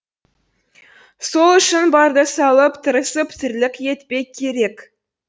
сол үшін барды салып тырысып тірлік етпек керек